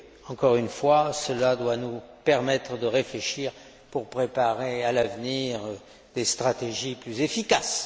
Encore une fois, cela doit nous inciter à réfléchir pour préparer, à l'avenir, des stratégies plus efficaces.